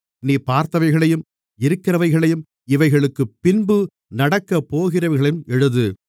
நீ பார்த்தவைகளையும் இருக்கிறவைகளையும் இவைகளுக்குப் பின்பு நடக்கப்போகிறவைகளையும் எழுது